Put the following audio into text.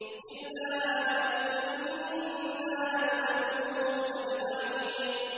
إِلَّا آلَ لُوطٍ إِنَّا لَمُنَجُّوهُمْ أَجْمَعِينَ